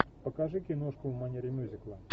покажи киношку в манере мюзикла